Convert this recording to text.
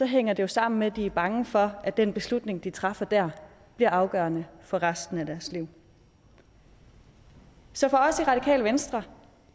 hænger det jo sammen med at de er bange for at den beslutning de træffer der bliver afgørende for resten af deres liv så for os i radikale venstre